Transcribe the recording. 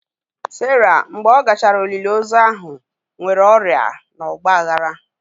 Sara mgbe ọ gachara olili ozu ahụ nwere ọrịa na ọgba aghara.